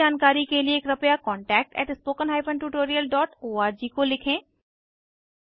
अधिक जानकारी के लिए कृपया contactspoken tutorialorg को लिखें